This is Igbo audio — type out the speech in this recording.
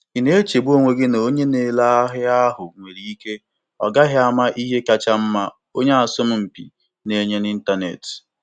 Ị na-echegbu onwe gị na onye na-ere ahịa ahụ nwere ike ọ gaghị ama ihe kacha mma onye asọmpi na-enye n'ịntanetị.